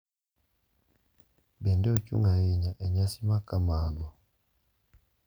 Bende, ochung’ ahinya e nyasi makamago.